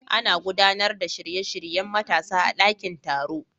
Ana gudanar da shirye-shiryen matasa a dakin taro.